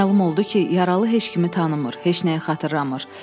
Məlum oldu ki, yaralı heç kimi tanımır, heç nəyi xatırlamır.